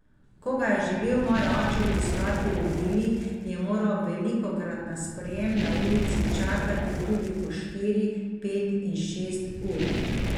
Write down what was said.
Ko ga je želel moj oče obiskati v vili, je moral velikokrat na sprejem na ulici čakati tudi po štiri, pet in šest ur.